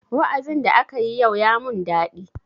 Wa'azin da akayi yau ya mun daɗi.